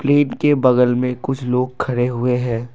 बगल में कुछ लोग खड़े हुए हैं।